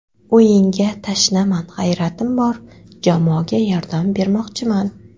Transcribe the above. O‘yinga tashnaman, g‘ayratim bor, jamoaga yordam bermoqchiman.